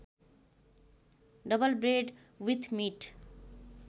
double bread with meet